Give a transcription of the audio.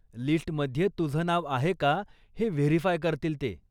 लिस्टमध्ये तुझं नाव आहे का हे व्हेरीफाय करतील ते.